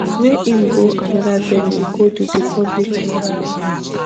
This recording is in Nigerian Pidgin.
wey im go anoda venue go do di public announcement